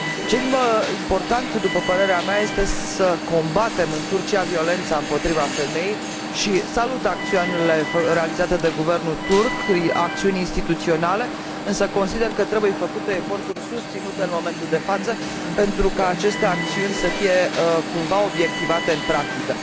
Ce e mai important, după părerea mea, este să combatem în Turcia violența împotriva femeii și salut acțiunile realizate de guvernul turc, acțiuni instituționale, însă consider că trebuie făcute eforturi susținute în momentul de față pentru ca aceste acțiuni să fie cumva obiectivate în practică.